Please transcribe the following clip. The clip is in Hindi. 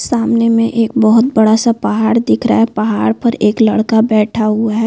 सामने में एक बहोत बडा सा पहाड़ दिख रहा है। पहाड़ पर एक लड़का बैठा हुआ है।